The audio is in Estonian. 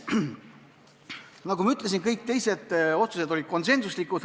Nagu ma ütlesin, kõik teised otsused muudatusettepanekute kohta olid konsensuslikud.